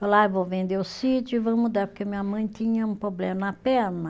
Falou, ah, eu vou vender o sítio e vou mudar, porque minha mãe tinha um problema na perna.